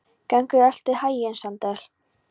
Gangi þér allt í haginn, Sandel.